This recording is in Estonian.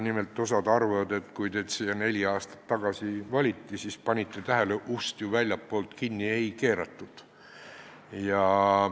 Nimelt, kui teid siia neli aastat tagasi valiti, siis te panite tähele, et ust ju väljastpoolt kinni ei keeratud.